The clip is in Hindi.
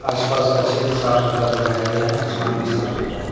आसपास का क्षेत्र साफ सुथरा दिखाई गया है आसमान भी साफ सुथरा है।